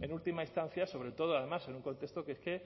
en última instancia sobre todo además en un contexto que es que